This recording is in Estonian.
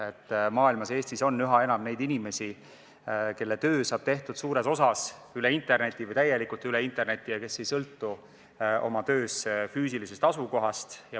Maailmas, sh Eestis, on üha enam neid inimesi, kelle töö saab tehtud suures osas või täielikult interneti teel ja kes ei sõltu oma töös füüsilisest asukohast.